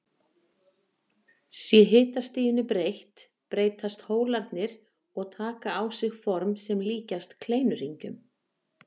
Sé hitastiginu breytt breytast hólarnir og taka á sig form sem líkjast kleinuhringjum.